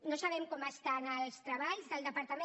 no sabem com estan els treballs del departament